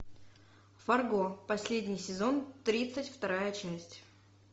фарго последний сезон тридцать вторая часть